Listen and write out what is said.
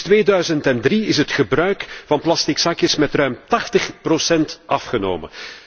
Sinds 2003 is het gebruik van plastic zakjes met ruim 80 procent afgenomen.